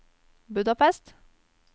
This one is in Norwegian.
Budapest